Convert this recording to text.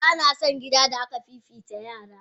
Bana son gida da aka fifita yaran.